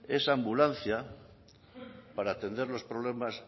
esa ambulancia para atender los problemas